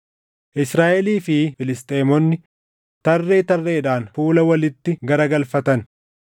Israaʼelii fi Filisxeemonni tarree tarreedhaan fuula walitti garagalfatan.